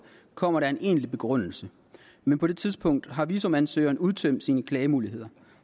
kommer der en egentlig begrundelse men på det tidspunkt har visumansøgeren udtømt sine klagemuligheder